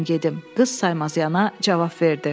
Qız saymazyana cavab verdi.